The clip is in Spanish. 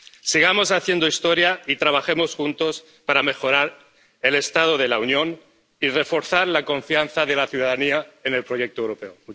Sigamos haciendo historia y trabajemos juntos para mejorar el estado de la Unión y reforzar la confianza de la ciudadanía en el proyecto europeo.